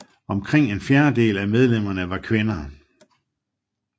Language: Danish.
Omkring en fjerdedel af medlemmerne var kvinder